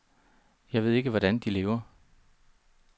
Jeg ved ikke, hvordan de lever.